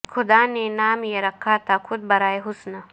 خدا نے نام یہ رکھا تھا خود برائے حسن